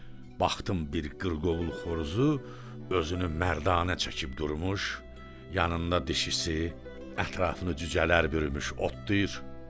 Baxdım bir qırqovul xoruzu özünü mərdanə çəkib durmuş, yanında dişisi, ətrafını cücələr bürümüş otlayır.